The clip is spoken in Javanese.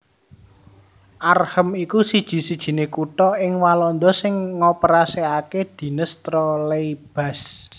Arnhem iku siji sijiné kutha ing Walanda sing ngoperasèkaké dines trolleybus